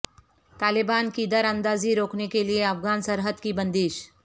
طالبان کی دراندازی روکنے کے لیے افغان سرحد کی بندش